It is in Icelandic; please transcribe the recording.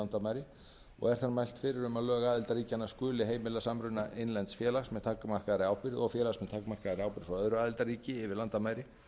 landamæri og er þar mælt fyrir um að lög aðildarríkjanna skuli heimila samruna innlends félags með takmarkaðri ábyrgð og félags með takmarkaðri ábyrgð frá öðru aðildarríki yfir landamæri